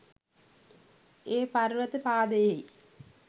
ඒ පර්වත පාදයෙහි